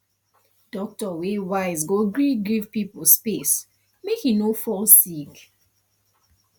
doctor wey wise go gree give pipo space make e no go fall sick